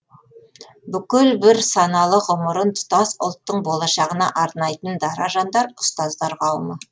бүкіл бір саналы ғұмырын тұтас ұлттың болашағына арнайтын дара жандар ұстаздар қауымы